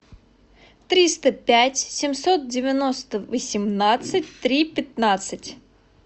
триста пять семьсот девяносто восемнадцать три пятнадцать